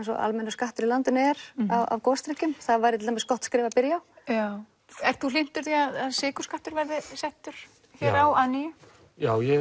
almennur skattur í landinu er á gosdrykkjum það væri til dæmis gott skref að byrja á ert þú hlynntur því að sykurskattur verði settur hér á að nýju já ég